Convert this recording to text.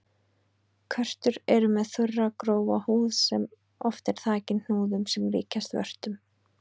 Körtur eru með þurra og grófa húð sem oft er þakin hnúðum sem líkjast vörtum.